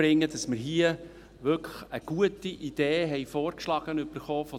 Wir haben hier von der IGöV wirklich eine gute Idee vorgeschlagen bekommen.